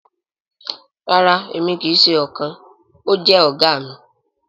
Rara emi kii ṣe ọkan… o jẹ oga mi.